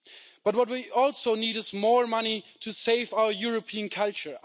But what we also need is more money to save our European culture.